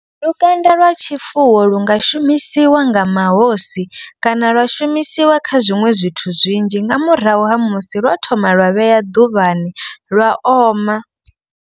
Lukanda lwa tshifuwo lu nga shumisiwa nga mahosi kana lwa shumisiwa kha zwiṅwe zwithu zwinzhi. Nga murahu ha musi lwo thoma lwa vhea ḓuvhani lwa oma.